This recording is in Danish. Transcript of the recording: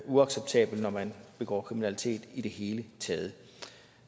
uacceptabelt når man begår kriminalitet i det hele taget